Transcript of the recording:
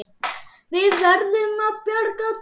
Við verðum að bjarga því.